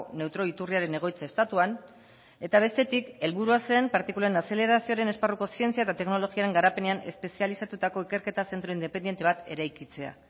neutroi iturriaren egoitza estatuan eta bestetik helburua zen partikulen azelerazioaren esparruko zientzia eta teknologiaren garapenean espezializatutako ikerketa zentro independente bat eraikitzea